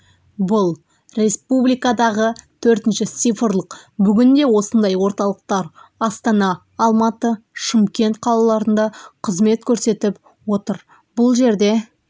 бұл республикадағы төртінші цифрлық бүгінде осындай орталықтар астана алматы шымкент қалаларында қызмет көрсетіп отыр бұл жерде